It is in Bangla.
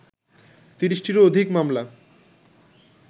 ৩০টিরও অধিক মামলা